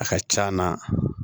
A ka c'a na